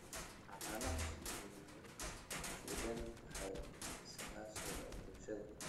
Xannaanada shinnidu waxay ku xidhan tahay iskaashiga bulshada.